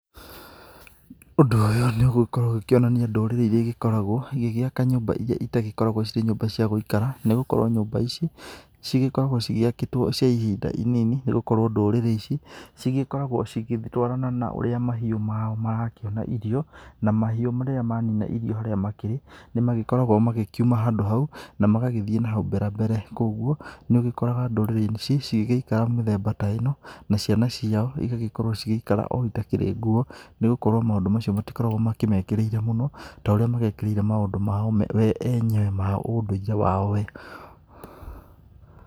Ũndũ ũyũ nĩ ũgĩgĩkorwo ũkĩonania ndũrĩrĩ iria igĩkoragwo igĩgĩaka nyumba ĩrĩa ĩtagĩkoragwo ciri nyũmba cia gũikara nĩ gũkorwo nyũmba ici cigĩkoragwo cigĩakĩtwo cia ihinda inini nĩ gũkorwo ndũrĩrĩ ici cigĩkoragwo cigĩtwarana na ũrĩa mahiũ mao marakĩona irio na mahiũ rĩrĩa makĩnina irio harĩa makĩrĩ nĩ magĩkoragwo makĩuma handũ hau na magagĩthiĩ nahau mbera mbere, kogũo nĩ ũgĩkora ndũrĩrĩ ici cigĩgĩikara mĩthemba ta ĩno na ciana ciao ĩgagĩkorwo cigĩikara o itakĩrĩ nguo nĩgũkorwo maũndũ macio matĩkoragwo makĩmekĩrĩire mũno ta ũrĩa magĩkĩrĩire maũndũ mao we enyewe wa ũndũire wao we.